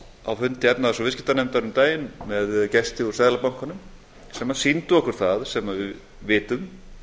á fundi efnahags og viðskiptanefndar um daginn með gesti úr seðlabankanum sem sýndu okkur það sem við vitum